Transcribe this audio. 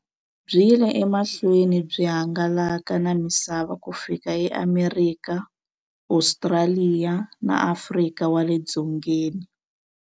Byi yile emahlweni byi hangalaka na misava ku fika eAmerika, Ostraliya na Afrika wale dzongeni.